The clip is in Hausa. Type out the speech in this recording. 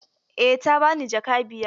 Eh ta bani jaka biyar.